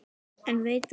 En veit það nokkur?